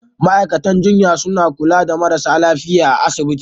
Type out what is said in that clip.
Ma'aikatan jinya suna kula da marasa lafiya a asibiti.